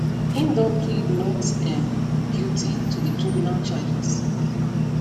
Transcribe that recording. im don plead not um guilty to di criminal charges